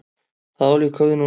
Það á líka við núna.